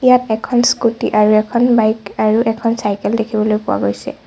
ইয়াত এখন স্কুটী আৰু এখন বাইক আৰু এখন চাইকেল দেখিবলৈ পোৱা গৈছে।